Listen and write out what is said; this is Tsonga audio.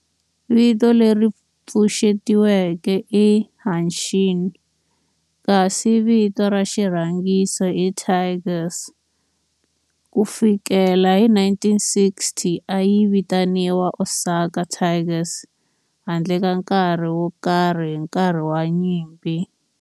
Vito leri pfuxetiweke i"Hanshin" kasi vito ra xirhangiso i"Tigers". Ku fikela hi 1960, a yi vitaniwa Osaka Tigers handle ka nkarhi wo karhi hi nkarhi wa nyimpi.